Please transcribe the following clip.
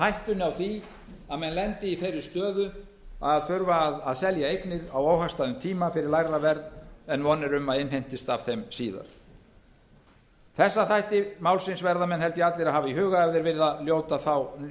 hættunni á því að menn lendi í þeirri stöðu að þurfa að selja eignir á óhagstæðum tíma fyrir lægra verð en von er um að innheimtist af þeim síðar þessa þætti málsins verða menn held ég allir að hafa í huga ef þeir vilja